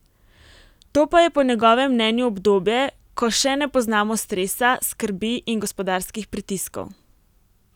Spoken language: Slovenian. To pa je po njegovem mnenju obdobje, ko še ne poznamo stresa, skrbi in gospodarskih pritiskov.